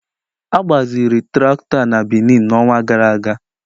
A gbaziri traktọ a na Benin n'ọnwa gara aga.